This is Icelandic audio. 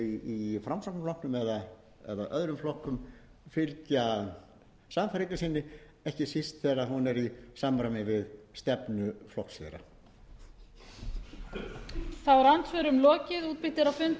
í framsóknarflokknum eða öðrum flokkum fylgja sannfæringu sinni ekki síst þegar hún er í samræmi við stefnu flokks þeirra